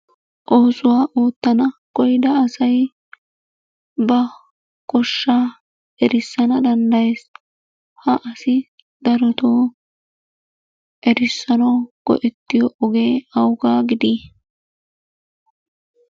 Oosuwa ootana koyyida asay ba goshsha erissana danddayees. Ha asi darotoo erissanaw go"ettiyo oge awugaa gidii?